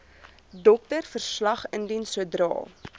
doktersverslag indien sodra